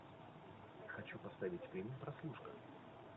хочу поставить фильм прослушка